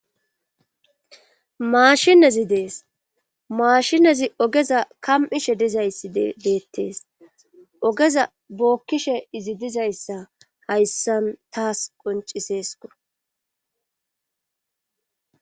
maashinezi dees maashinezi ogeza kam7ishe dizayssi beettees ogeza bookkishe izi dizayssa hayssan taas qonciseesko.